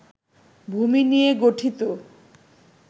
ভূমি নিয়ে গঠিত